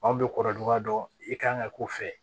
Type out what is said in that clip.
Anw bɛ kɔrɔduga dɔ i kan ka k'u fɛ